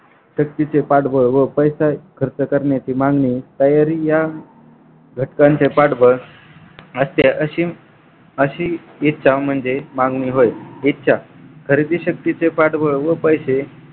शक्तीचे पाठबळ व पैसा खर्च करण्याची मागणी तयारी या घटकांचे पाठबळ अशी अशी इच्छा म्हणजे मागणी होय इच्छा खरेदी शक्तीचे पाठबळ व पैसे